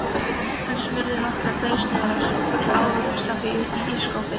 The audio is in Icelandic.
Hann smurði nokkrar brauðsneiðar og sótti ávaxtasafa í ísskápinn.